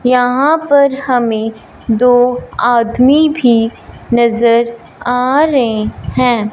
यहां पर हमें दो आदमी भी नजर आ रहे हैं।